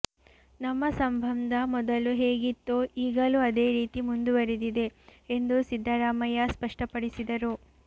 ನಮ್ಮ ಸಂಬಂಧ ಮೊದಲು ಹೇಗಿತ್ತೋ ಈಗಲೂ ಅದೇ ರೀತಿ ಮುಂದುವರೆದಿದೆ ಎಂದು ಸಿದ್ದರಾಮಯ್ಯ ಸ್ಪಷ್ಟಪಡಿಸಿದರು